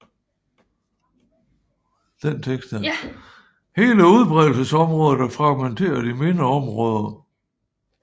Hele udbredelsesområdet er fragmenteret i mindre områder